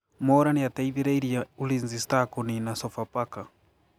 Mwaura nĩateithĩrĩirie Ulinzi Stars kũnina Sofapaka